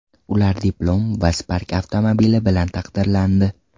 Ular diplom va Spark avtomobili bilan taqdirlandi.